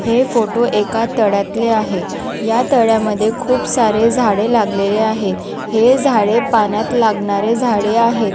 हे फोटो एका तळ्यातले आहे या तळ्यामध्ये खूप सारे झाडे लागलेले आहेत हे झाडे पाण्यात लागणारे झाडे आहे.